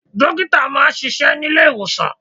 Dókítà máa ń ṣíṣe nílé ìwòsàn.